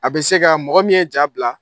A bɛ se ka mɔgɔ min ye ja bila